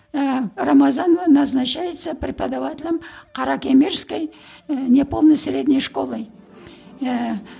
ііі рамазанова назначается преподавателем каракемерской і не полной средней школы ііі